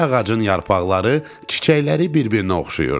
Hər ağacın yarpaqları, çiçəkləri bir-birinə oxşayırdı.